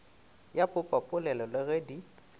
ya popapolelo le ge di